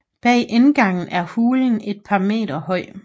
Bag indgangen er hulen et par meter høj